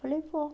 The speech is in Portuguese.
Falei, vou.